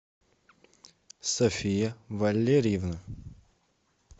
софия валерьевна